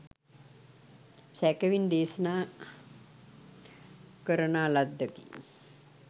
සැකෙවින් දේශනා කරනා ලද්දකි.